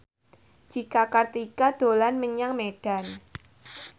Cika Kartika dolan menyang Medan